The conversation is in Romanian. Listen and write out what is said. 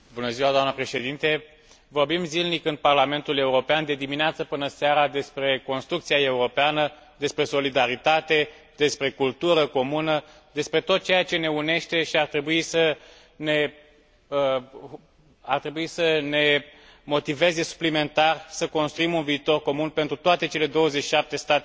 Vorbim zilnic în Parlamentul European, de dimineața până seara, despre construcția europeană, despre solidaritate, despre cultură comună, despre tot ceea ce ne unește și ar trebui să ne motiveze suplimentar să construim un viitor comun pentru toate cele 27 de state membre ale Uniunii Europene.